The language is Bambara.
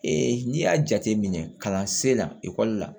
n'i y'a jate minɛ kalansen na ekɔli la